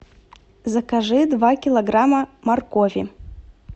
закажи два килограмма моркови